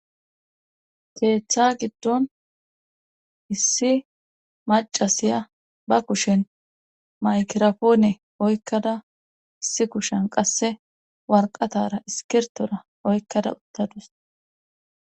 Keeththa giddon issi macasiya ba kushen maykirapoone oykkada issi kushen qasse warqatara iskirtora oykkada uttadus.